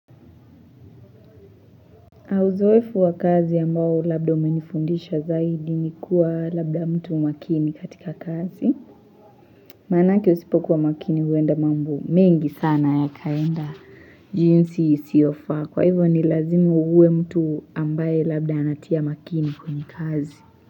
Na uzoefu wa kazi ambao labda umenifundisha zaidi ni kuwa labda mtu makini katika kazi. Mmh Manake usipokuwa makini huenda mambo mengi sana yakaenda jinsi isiofa. Kwa hivyo ni lazimu uwe mtu ambaye labda anatia makini kwenye kazi.